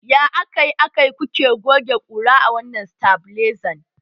Ya akai-akai kuke goge ƙura a wannan satabilizan?